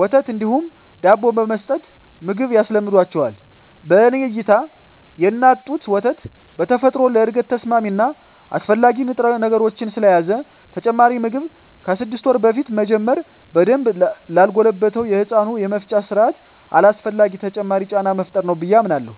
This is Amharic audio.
ወተት እንዲሁም ዳቦ በመስጠት ምግብ ያስለምዷቸዋል። በኔ እይታ የእናት ጡት ወተት በተፈጥሮ ለእድገት ተስማሚ እና አስፈላጊ ንጥረነገሮችን ስለያዘ ተጨማሪ ምግብ ከስድስት ወር በፊት መጀመር በደንብ ላልጎለበተው የህፃናቱ የመፍጫ ስርአት አላስፈላጊ ተጨማሪ ጫና መፍጠር ነው ብየ አምናለሁ።